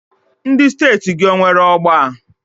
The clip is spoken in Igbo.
Ndị steeti gị o nwere ọgba?